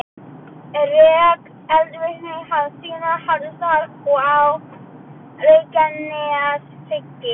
Rek og eldvirkni hafa síðan haldist þar og á Reykjaneshrygg.